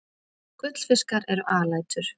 Gullfiskar eru alætur.